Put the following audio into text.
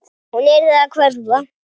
Hún yrði að hverfa.